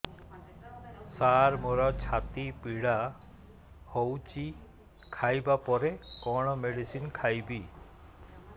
ସାର ମୋର ଛାତି ପୀଡା ହଉଚି ଖାଇବା ପରେ କଣ ମେଡିସିନ ଖାଇବି